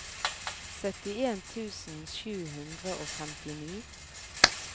syttien tusen sju hundre og femtini